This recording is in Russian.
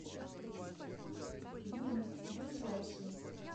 грин ближайший